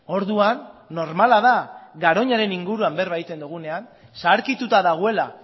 orduan normala da garoñaren inguruan berba egiten dugunean zaharkituta dagoela